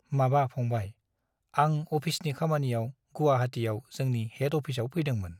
माबा फंबाय , आं अफिसनि खामानियाव गुवाहाटीयाव जोंनि हेड अफिसआव फैदोंमोन ।